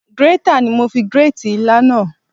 Grater ni mo fi grate ilá náà.